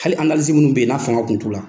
Hali minnu bɛ yen n'a fanga kun t'u la.